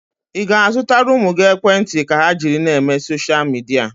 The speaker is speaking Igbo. Ị ga-azụtara ụmụ gị ekwentị ka ha jiri na-eme soshal midia?